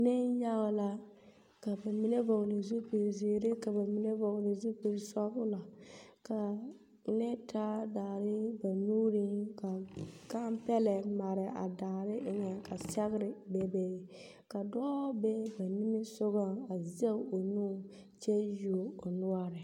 Neŋyage la, ka ba mine vͻgele zupili zeere ka ba mine vͻgele zupili sͻgelͻ, ka mine taa daare ba nuuriŋ ka gampԑlԑ mare a a daare eŋԑŋ ka sԑgere bebe ka dͻͻ be ba niŋe sogͻŋ a zԑge o nu kyԑ yuo o noͻre.